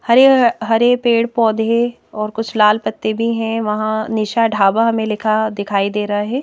हरे हरे पेड़ पौधे और कुछ लाल पत्ते भी हैं वहां निशा ढाबा हमें लिखा दिखाई दे रहा है।